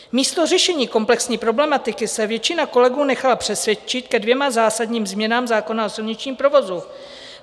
Místo řešení komplexní problematiky se většina kolegů nechala přesvědčit ke dvěma základním změnám zákona o silničním provozu.